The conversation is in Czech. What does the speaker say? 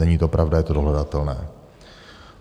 Není to pravda, je to dohledatelné.